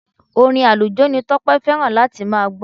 Orin àlùjó ni Tọ́pẹ́ fẹ́ràn láti máa gbọ́.